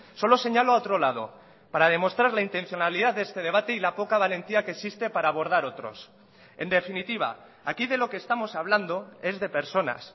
solo señalo a otro lado para demostrar la intencionalidad de este debate y la poca valentía que existe para abordar otros en definitiva aquí de lo que estamos hablando es de personas